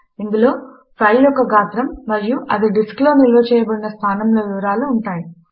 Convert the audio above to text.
ఇందులో ఫైల్ యొక్క పొడవు మరియు అది డిస్క్ లో ఎక్కడ నిల్వ చేయబడింది అన్న విషయములు ఉంటాయి